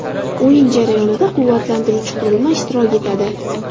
O‘yin jarayonida quvvatlantiruvchi qurilma ishtirok etadi.